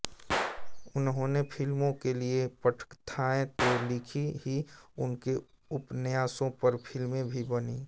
उन्होंने फिल्मों के लिए पटकथाएँ तो लिखी ही उनके उपन्यासों पर फिल्में भी बनी